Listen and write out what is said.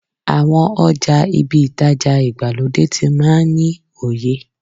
Àwọn ọjà ibi ìtajà ìgbàlódé tí máa ń ní oye.